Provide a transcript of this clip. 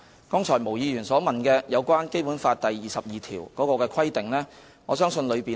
對於毛議員剛才所問，我相信《基本法》第二十二條的條文已訂明有關規定。